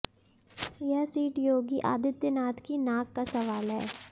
यह सीट योगी आदित्यनाथ की नाक का सवाल है